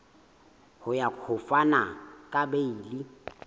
ya ho fana ka beile